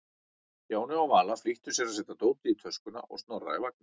Stjáni og Vala flýttu sér að setja dótið í töskuna og Snorra í vagninn.